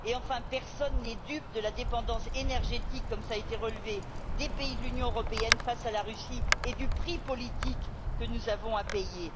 Par ailleurs, personne n'est dupe de la dépendance énergétique, comme cela a été relevé, des pays de l'Union européenne face à la Russie, et du prix politique que nous avons à payer.